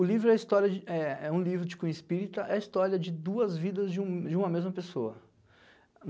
O livro é é uma história de é é um livro de cunho espírita, é a história duas vidas de um de uma mesma pessoa.